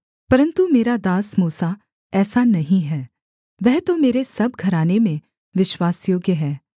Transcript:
परन्तु मेरा दास मूसा ऐसा नहीं है वह तो मेरे सब घराने में विश्वासयोग्य है